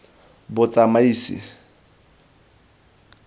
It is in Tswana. botsamaisi